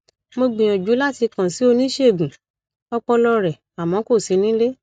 mo gbìyànjú láti kàn sí oníṣègùn ọpọlọ rẹ àmọ kò sí nílé